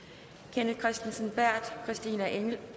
kenneth kristensen berth christina